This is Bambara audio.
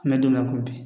An mɛ don min na ko bi